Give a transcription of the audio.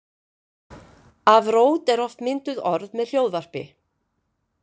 Af rót eru oft mynduð orð með hljóðvarpi.